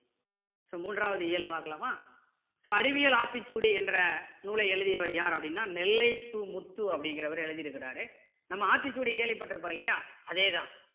so மூன்றாவது இயல் பார்க்கலாமா so அறிவியல் ஆத்திச்சூடி என்ற நூலை எழுதியவர் யார் அப்படின்னா நெல்லை சு முத்து அப்படிங்கிறவரு எழுதி இருக்காரு நம்ம ஆத்திச்சூடி கேள்வி பட்டிருப்போம் இல்லையா அதே தான்